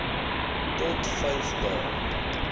tot vyf dae